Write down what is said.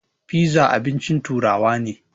Fiza abincin turawa ne.